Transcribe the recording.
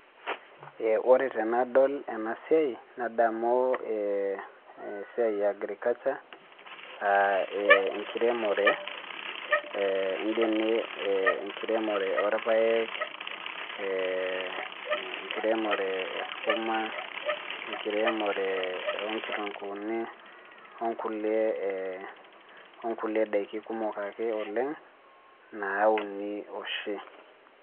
Ee ore tenadol ena siai, nadamu esiai e agriculture .aa ee enkiremore ee ene enkiremore oorpaek, ee enkiremore e skuma ee enkiremore oo nkitunkuuni, nkulie ee onkulie daiki kumok ake oleng naauni oshi.